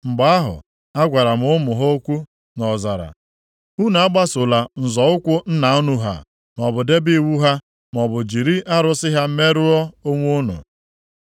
Mgbe ahụ, agwara m ụmụ ha okwu nʼọzara, “Unu agbasola nzọ ụkwụ nna unu ha maọbụ debe iwu ha maọbụ jiri arụsị ha merụọ onwe unu.